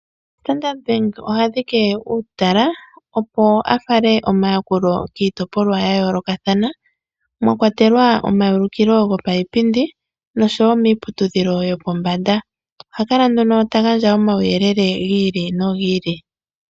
Standard Bank oha dhike uutala, opo a fale omayakulo kiitopolwa ya yoolokathana mwa kwatelwa omaulukilo gopaipindi noshowo miiputudhilo yopombanda. Oha kala nduno ta gandja omauyelele gi ili nogi ili.